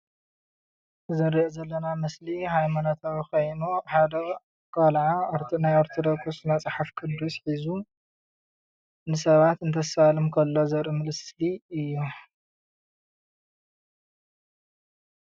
እዚ እንሪኦ ዘለና ምስሊ ሃይማኖታዊ ኮይኑ ሓደ ቆልዓ ናይ ኦርተዶክስ መፅሓፍ ቁዱስ ሒዙ ንሰባት እንተሳልም ከሎ ዘርኢ ምስሊ እዩ፡፡